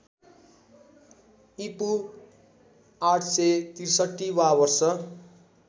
ईपू ८६३ वा वर्ष